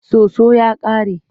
Soso ya ƙare.